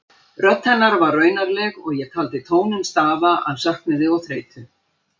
Rödd hennar var raunaleg og ég taldi tóninn stafa af söknuði og þreytu.